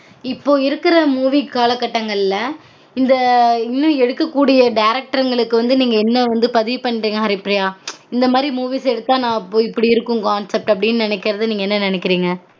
இப்பொ இருக்குற movies கால கட்டங்கள்ள இந்த இன்னும் எடுக்க கூடிய directors களுக்கு வந்து நீங்க என்ன வந்து பதிவு பண்றீங்க ஹரிப்ரியா இந்த மாதிரி movies எடுத்தா நான் இப்டி இருக்கும் concept அப்டினு நெனைக்குறத நீங்க என்ன நெனைக்குறீங்க